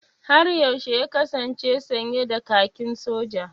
Har yaushe ya kasance sanye da kakin Soja?